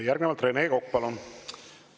Järgnevalt Rene Kokk, palun!